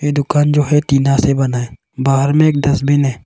ये दुकान जो है टीना से बना है बाहर में एक डस्टबिन है।